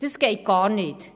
Das geht gar nicht.